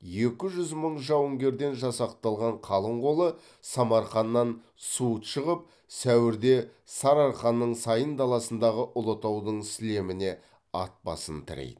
екі жүз мың жауынгерден жасақталған қалың қолы самарқаннан суыт шығып сәуірде сарыарқаның сайын даласындағы ұлытаудың сілеміне ат басын тірейді